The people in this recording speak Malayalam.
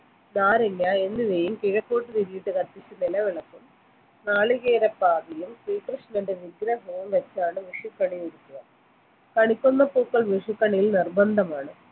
നാരങ്ങ എന്നിവയും കിഴക്കോട്ട് തിരിയിട്ട് കത്തിച്ച നിലവിളക്കും നാളികേര പാതിയും ശ്രീകൃഷ്ണന്റെ വിഗ്രഹവും വെച്ചാണ് വിഷുക്കണി ഒരുക്കുക കണിക്കൊന്ന പൂക്കൾ വിഷുക്കണിയിൽ നിർബന്ധമാണ്